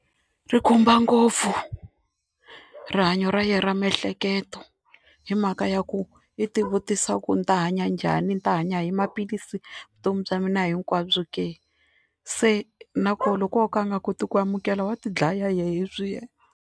Ri khumba ngopfu rihanyo ra yena ra miehleketo hi mhaka ya ku i tivutisa ku ni ta hanya njhani, ni ta hanya hi maphilisi vutomi bya mina hinkwabyo ke se na kona loko wo ka a nga koti ku amukela wa tidlaya hi leswiya.